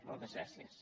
moltes gràcies